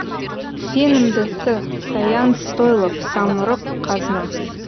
сенімді с саян стойлов самұрық қазына